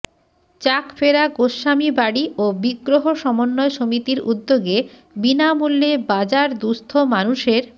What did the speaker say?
চাক ফেরা গোস্বামী বাড়ি ও বিগ্রহ সমন্বয় সমিতির উদ্যোগে বিনামূল্যে বাজার দুস্থ মানুষের